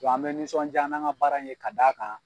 Bɔn an be nisɔnja n'an ka baara in ye ka d'a kan